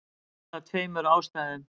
Og það af tveimur ástæðum.